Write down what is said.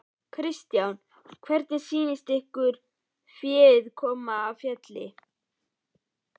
Kristján: Hvernig sýnist ykkur féð koma af fjalli?